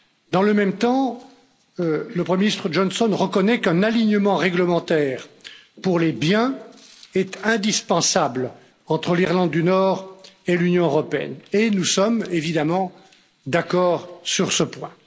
Dans le même temps, le premier ministre Johnson reconnaît qu'un alignement réglementaire pour les biens est indispensable entre l'Irlande du Nord et l'Union européenne et nous sommes évidemment d'accord sur ce point.